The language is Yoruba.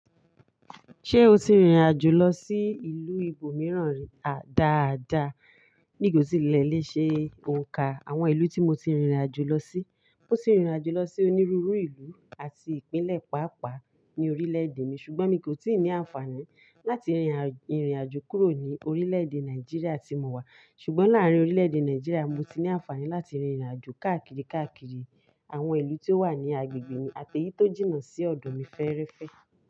Ṣé o ti rìnrìn àjò lọ sí ìlú ibòmíràn rí? À dáadáa, mi kò tíì le léṣe òǹkà àwọn ìlú tí mo ti rìnrìn àjò lọ sí. Mo ti rìnrìn àjò lọ sí onírúurú ìlú àti Ìpínlẹ̀ pàápàá ní orílẹ̀èdè mi ṣùgbọ́n mi kò tíì ní àǹfààní láti rìnrìn àjò kúrò ní orílẹ̀èdè Nàìjíríà tí mo wà. Ṣùgbọ́n láàárín orílẹ̀èdè Nàìjíríà mo ti ní àǹfààní láti rìnrìn àjò káàkiri káàkiri àwọn ìlú tí ó wà ní agbègbè mi àti èyí tó jìnnà sí ọ̀dọ̀ mi fẹ́ẹ́rẹ́fẹ́